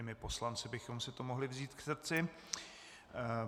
I my poslanci bychom si to mohli vzít k srdci.